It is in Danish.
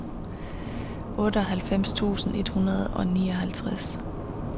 otteoghalvfems tusind et hundrede og nioghalvtreds